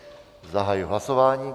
Zahajuji hlasování.